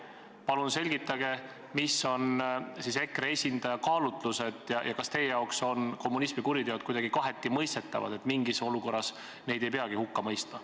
Palun selgitage, mis olid EKRE esindaja kaalutlused ja kas teie jaoks on kommunismi kuriteod kuidagi kaheti mõistetavad, nii et mingis olukorras neid ei peagi hukka mõistma.